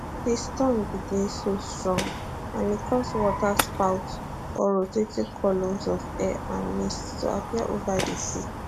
di storm bin dey so strong and e cause waterspouts or rotating columns of air and mist to appear ova di sea